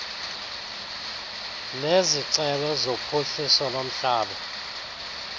nezicelo zophuhliso lomhlaba